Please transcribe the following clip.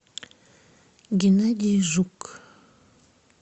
геннадий жук